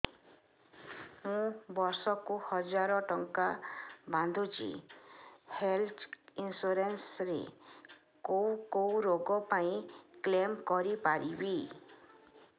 ମୁଁ ବର୍ଷ କୁ ହଜାର ଟଙ୍କା ବାନ୍ଧୁଛି ହେଲ୍ଥ ଇନ୍ସୁରାନ୍ସ ରେ କୋଉ କୋଉ ରୋଗ ପାଇଁ କ୍ଳେମ କରିପାରିବି